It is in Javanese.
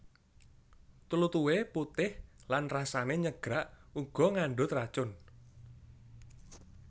Tlutuhe putih lan rasane nyegrak uga ngandhut racun